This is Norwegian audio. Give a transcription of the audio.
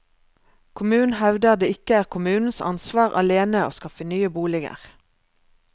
Kommunen hevder det ikke er kommunens ansvar alene å skaffe nye boliger.